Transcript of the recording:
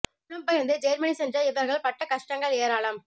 புலப்பெயர்ந்து Germany சென்ற இவர்கள் படட கஷ்டங்கள் ஏராளம்